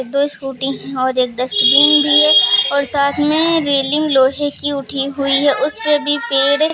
दो स्कूटी हैं और एक डस्टबिन भी है और साथ में रेलिंग लोहे की उठी हुई है उसपे भी पेर है।